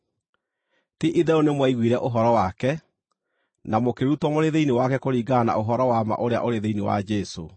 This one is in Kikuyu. Ti-itherũ nĩmwaiguire ũhoro wake, na mũkĩrutwo mũrĩ thĩinĩ wake kũringana na ũhoro wa ma ũrĩa ũrĩ thĩinĩ wa Jesũ.